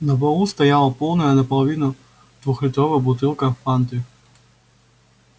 на полу стояла полная наполовину двухлитровая бутылка фанты